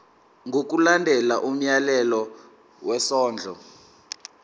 ngokulandela umyalelo wesondlo